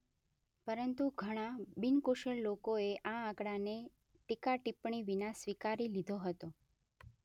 પરંતુ ઘણા બિનકુશળ લોકોએ આ આંકડાને ટીકા-ટિપ્પણી વિના સ્વીકારી લીધો હતો.